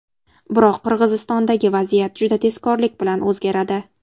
Biroq Qirg‘izistondagi vaziyat juda tezkorlik bilan o‘zgaradi.